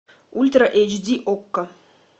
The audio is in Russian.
ультра эйч ди окко